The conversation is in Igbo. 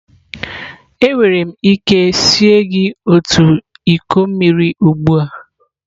Enwere m ike sie gị otu iko mmiri ugbu a?